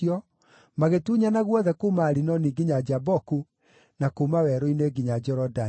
magĩtunyana guothe kuuma Arinoni nginya Jaboku, na kuuma werũ-inĩ nginya Jorodani.